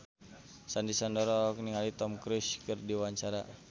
Sandy Sandoro olohok ningali Tom Cruise keur diwawancara